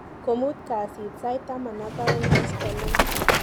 komut kasit sait taman ak aeng koskoliny.